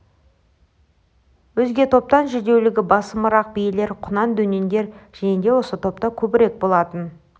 өзге топтан жүдеулігі басымырақ биелер құнан-дөнендер және де осы топта көбірек болатын